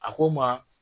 A ko n ma